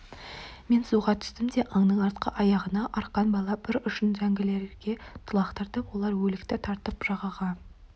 мен суға түстім де аңның артқы аяғына арқан байлап бір ұшын зәңгілерге лақтырдым олар өлікті тартып жағаға